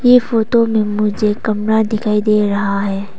ये फोटो में मुझे कमरा दिखाई दे रहा है।